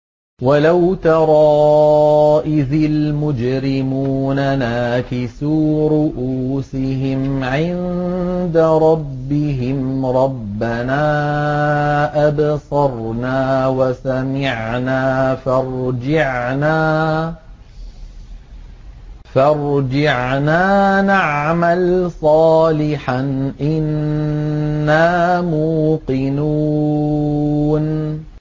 وَلَوْ تَرَىٰ إِذِ الْمُجْرِمُونَ نَاكِسُو رُءُوسِهِمْ عِندَ رَبِّهِمْ رَبَّنَا أَبْصَرْنَا وَسَمِعْنَا فَارْجِعْنَا نَعْمَلْ صَالِحًا إِنَّا مُوقِنُونَ